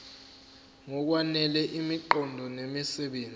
ngokwanele imiqondo nemisebenzi